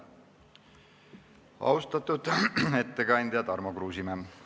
Austatud ettekandja Tarmo Kruusimäe!